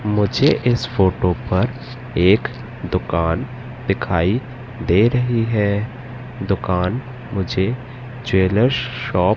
मुझे इस फोटो पर एक दुकान दिखाई दे रही है। दुकान मुझे ज्वेलर्स शॉप --